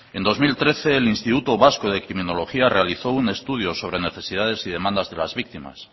en dos mil trece el instituto vasco de criminología realizó un estudio sobre necesidades y demandas de las víctimas